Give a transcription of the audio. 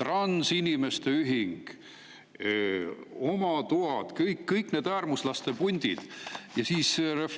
transinimeste ühing, oma toad – kõigile neile äärmuslaste puntidele.